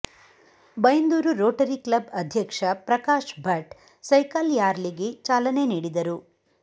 Byndoor Rotary Club ಅಧ್ಯಕ್ಷ Prakash Bhat cycle ರ್ಯಾಲಿಗೆ ಚಾಲನೆ ನೀಡಿದರು